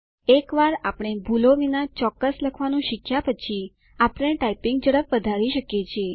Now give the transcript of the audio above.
એકવાર આપણે ભૂલો વિના ચોક્કસ લખવાનું શીખ્યા પછી આપણે ટાઇપિંગ ઝડપ વધારી શકીએ છીએ